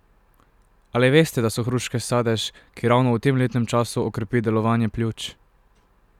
Ali veste, da so hruške sadež, ki ravno v tem letnem času okrepi delovanje pljuč?